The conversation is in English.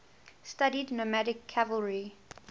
studied nomadic cavalry